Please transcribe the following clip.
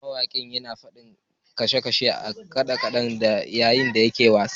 Mawakin ya fadi a sashin kade-kade yayin da yake wasa